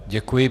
Děkuji.